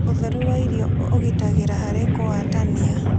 Ũtherũ wa irio ũgĩtagĩra harĩ kũwatanĩa